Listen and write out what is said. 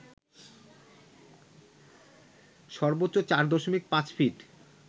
সর্বোচ্চ ৪.৫ ফিট